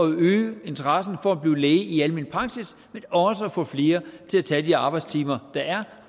øge interessen for at blive læge i almen praksis men også at få flere til at tage de arbejdstimer der er